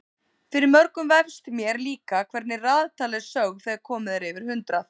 Fyrir mörgum vefst- mér líka- hvernig raðtala er sögð þegar komið er yfir hundrað.